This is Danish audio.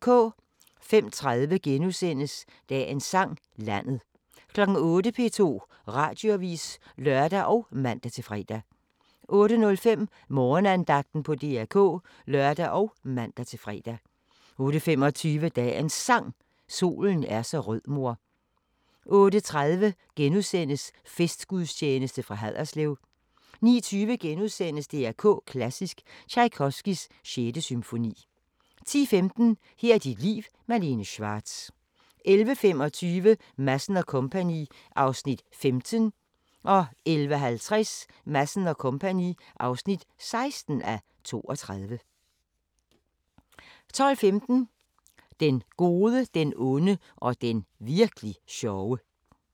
05:30: Dagens Sang: Landet * 08:00: P2 Radioavis (lør og man-fre) 08:05: Morgenandagten på DR K (lør og man-fre) 08:25: Dagens Sang: Solen er så rød mor 08:30: Festgudstjeneste fra Haderslev * 09:20: DR K Klassisk: Tjajkovskijs 6. symfoni * 10:15: Her er dit liv – Malene Schwartz 11:25: Madsen & Co. (15:32) 11:50: Madsen & Co. (16:32) 12:15: Den gode, den onde og den virk'li sjove